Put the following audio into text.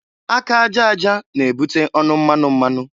Aka aja aja na-ebute ọnụ mmanụ mmanụ.